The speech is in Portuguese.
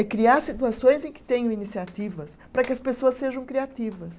É criar situações em que tenham iniciativas, para que as pessoas sejam criativas.